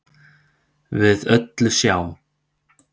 við öllu sjá